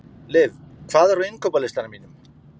Liv, hvað er á innkaupalistanum mínum?